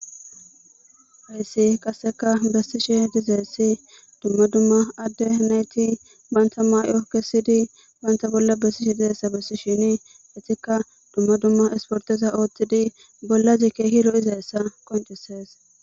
Hayssi qassika bessishe diza issi dumma dumma adde nayti banta mayo kessidi banta bolla bessishi diza issa bessishini, etikka dumma dumma isportiza oothtidi bollazikke keehi lo'iza iza qoncisees.